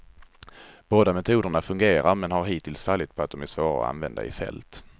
Båda metoderna fungerar men har hittills fallit på att de är svåra att använda i fält.